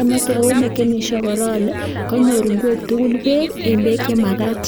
Ameken sure kora ale konyor ingwek tugul beek en beek che magat.